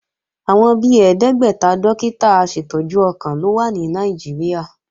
Àwọn bi ẹ̀ẹ́dẹ́gbẹ́ta dókítà aṣètọ́jú ọkàn ló wà ní Nàìjíríà